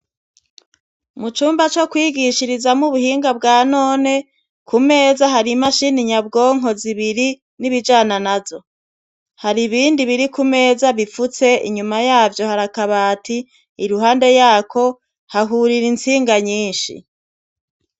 Muumba co kwigishirizamwo ubuhinga bwa none ku meza hari imashini nyabwonko zibiri n'ibijana nazo hari ibindi biri ku meza bifutse inyuma yavyo hari akabati iruhande yako hahurira intsinga nyinshi.